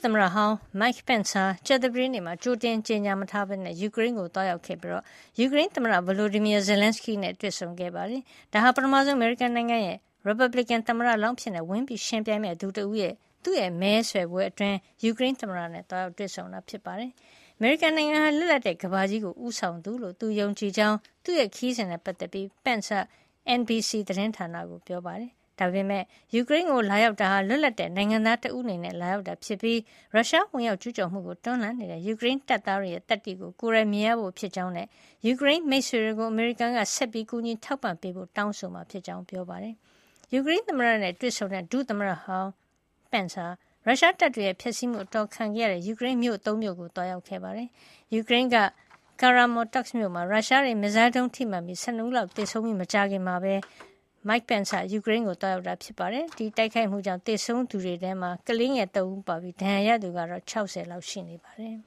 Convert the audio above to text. သမ္မတဟောင်း Mike Pence ဟာ ကြာသပတေးနေ့မှာ ကြိုတင် မကြေညာပဲ ယူကရိန်းကို သွားရောက်ခဲ့ပြီး ယူကရိန်းသမ္မတ Volodymyr Zelenskyy နဲ့ တွေ့ဆုံခဲ့ပါတယ်။ ဒါဟာ အမေရိကန်နိုင်ငံက ရီပတ်ဘလစ်ကင် သမ္မတလောင်းအဖြစ် ဝင်ရောက်ယှဉ်ပြိုင်မယ့်သူတွေထဲက ပထမဆုံးသူအဖြစ် ယူကရိန်းသမ္မတကို သွားရောက်တွေ့ဆုံတာ ဖြစ်ပြီး ၊ သူ့မဲဆွယ်ကာလအတွင်း သွားရောက်တာလည်း ဖြစ်ပါတယ်။ အမေရိကန်နိုင်ငံဟာ လွတ်လပ်တဲ့ ကမ္ဘာကြီးကို ဦးဆောင်သူလို့ သူယုံကြည်ကြောင်း သူ့ခရီးစဉ်နဲ့ ပတ်သက်ပြီး Pence က NBC သတင်းဌာနကကို ပြောပါတယ်။ ယူကရိန်းကို လာရောက်တာဟာ လွတ်လပ်တဲ့နိုင်ငံသား တဦးအနေနဲ့ လာတာဖြစ်ပြီး ရုရှား ဝင်ရောက်ကျူးကျော်မှုကို တွန်းလှန်နေတဲ့ ယူကရိန်းတပ်သားတွေရဲ့ သတ္တိကို ကိုယ်တိုင်မြင်ရဖို့ ဖြစ်ကြောင်းနဲ့ ယူကရိန်းမိတ်ဆွေတွေကို အမေရိကန်က ဆက်ပြီး ကူညီထောက်ပံ့ပေးဖို့ တောင်းဆိုမှာ ဖြစ်ကြောင်း ပြောပါတယ်။ ယူကရိန်းသမ္မတနဲ့ တွေ့ဆုံခဲ့တဲ့ ဒုသမ္မတဟောင်း Pence ဟာ ရုရှားတပ်တွေရဲ့ ဖျက်ဆီးမှု အတော်ခံထားရတဲ့ Moshchun, Bucha နဲ့ Irpin တို့လို ကရိန်းမြို့တွေကိုလည်း သွားရောက်ခဲ့ပါတယ်။ ယူကရိန်းက Kramatorsk မြို့မှာ ရုရှားရဲ့ မစ်ဇိုင်းဒုံး ထိမှန်လို့ လူ ၁၂ ဦးလောက် သေဆုံးခဲ့ရပြီးနောက် မကြာခင်မှာပဲ Mike Pence က ယူကရိန်းကို သွားရောက်တာ ဖြစ်ပါတယ်။ ဒီတိုက်ခိုက်မှုကြောင့် သေဆုံးရသူတွေထဲမှာ ကလေးငယ် ၃ ဦး ပါနေတာဖြစ်ပြီး ဒဏ်ရာရသူကတော့ ၆၀ လောက်ရှိတယ်